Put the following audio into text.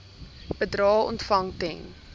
bedrae ontvang ten